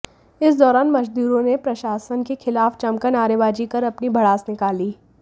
इस दौरान मजदूरों ने प्रशासन के खिलाफ जमकर नारेबाजी कर अपनी भड़ास निकाली